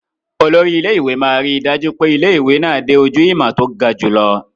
Olórí ilé-ìwé máa ríi dájú pé ilé-ìwé náà dé ojú ìmọ̀ tó ga jùlọ.